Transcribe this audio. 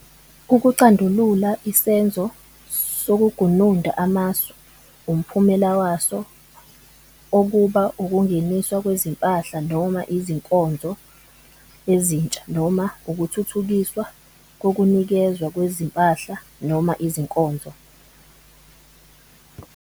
UkuCandulula isenzo sokugununda amasu umphumela waso okuba ukungeniswa kwezimpahla noma izinkonzo ezintsha noma ukuthuthukiswa kokunikezwa kwezimpahla noma izinkonzo.